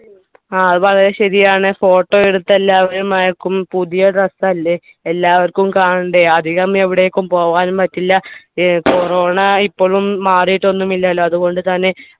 ആ അത് വളരെ ശരിയാണ് photo എടുത്ത് എല്ലാവരും അയക്കും പുതിയ dress അല്ലെ എല്ലാവർക്കും കാണണ്ടേ അധികം എവിടേക്കും പോകാനും പറ്റില്ല ഏർ corona ഇപ്പോളും മാറീട്ടൊന്നുമില്ലല്ലോ അത്കൊണ്ട് തന്നെ